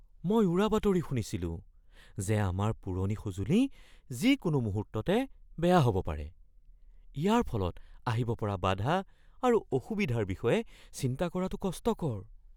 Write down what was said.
মই উৰাবাতৰি শুনিছিলো যে আমাৰ পুৰণি সঁজুলি যিকোনো মুহূৰ্ততে বেয়া হ'ব পাৰে। ইয়াৰ ফলত আহিব পৰা বাধা আৰু অসুবিধাৰ বিষয়ে চিন্তা কৰাটো কষ্টকৰ।